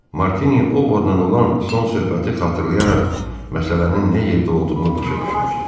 Martini Ovodla olan son söhbəti xatırlayaraq məsələnin nə yerdə olduğunu başa düşmüşdü.